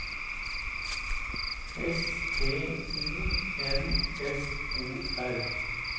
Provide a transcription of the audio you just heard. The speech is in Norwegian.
S P O N S O R